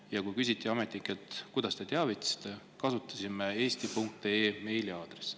Ja kui ametnikelt küsiti, kuidas nad teavitasid, nad kasutasid eesti.ee meiliaadressi.